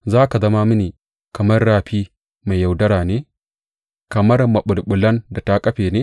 Za ka zama mini kamar rafi mai yaudara ne, kamar maɓulɓulan da ta kafe ne?